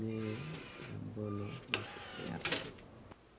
nge labolo ma kipito.